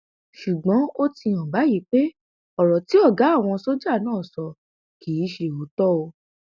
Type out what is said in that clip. ṣùgbọn ó ti hàn báyìí pé ọrọ tí ọgá àwọn sójà náà sọ kì í ṣe òótọ o